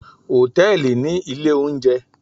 Hòtẹ́ẹ̀lì ní ilé oúnjẹ